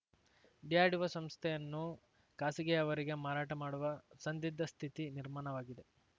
DRDO ಸಂಸ್ಥೆಯನ್ನೂ ಖಾಸಗಿಯವರಿಗೆ ಮಾರಾಟ ಮಾಡುವ ಸಂದಿದ್ಧ ಸ್ಥಿತಿ ನಿರ್ಮಾಣವಾಗಿದೆ